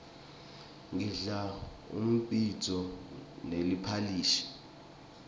ngidla umbhidvo neliphalishi